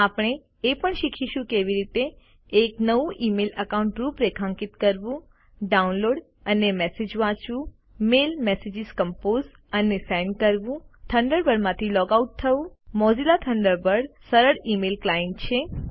આપણે એ પણ શીખીશું કે કેવી રીતે એક નવું ઇમેઇલ એકાઉન્ટ રૂપરેખાંકિત કરવું ડાઉનલોડ અને મેસેજ વાંચવું મેલ મેસેજીસ કંપોઝ અને સેન્ડ કરવું થન્ડરબર્ડમાંથી લૉગ આઉટ થવું મોઝિલા થન્ડર બર્ડ સરળ ઇમેઇલ ક્લાઈન્ટ છે